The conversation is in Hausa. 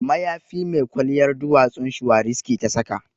Mayafi mai kwalliyar duwatsun shuwariski ta saka